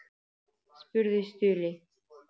spurði Stulli.